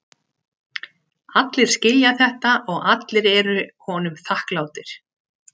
Allir skilja þetta og allir eru honum þakklátir.